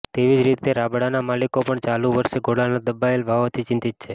તેવી જ રીતે રાબડાના માલિકો પણ ચાલુ વર્ષે ગોળના દબાયેલા ભાવોથી ચિંતિત છે